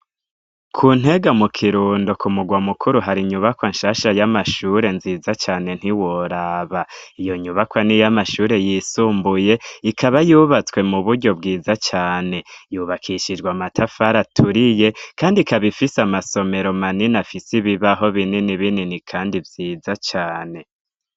Ku ntega mu Kirundo ku mugwa mukuru hari inyubakwa nshasha y'amashure nziza cane ntiworaba, iyo nyubakwa n'iyamashure yisumbuye ikaba yubatswe mu buryo bwiza cane, yubakishijwe amatafari aturiye kandi ikaba ifise amasomero manini afise ibibaho binini binini kandi vyiza cane.